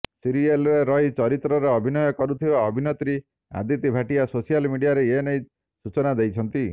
ସିରିଏଲରେ ରୁହି ଚରିତ୍ରରେ ଅଭିନୟ କରୁଥିବା ଅଭିନେତ୍ରୀ ଅଦିତି ଭାଟିଆ ସୋସିଆଲ ମିଡିଆରେ ଏନେଇ ସୂଚନା ଦେଇଛନ୍ତି